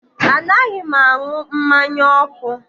Anaghị m aṅụ mmanya ọkụ